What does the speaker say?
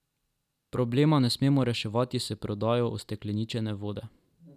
Problema ne smemo reševati s prodajo ustekleničene vode.